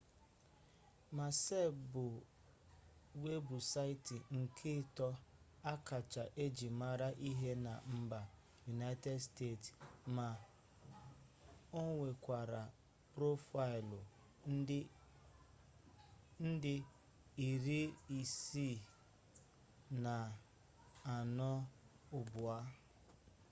maịspes bụ webụsaịtị nke ịtọ akacha eji mere ihe na mba yunaịted steeti ma onwekwara profaịlụ nde iri ise na anọ ugbua